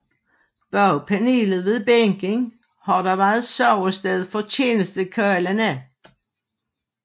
Bag panelet ved bænken har der været sovested for tjenestekarlene